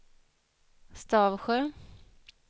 Stavsjö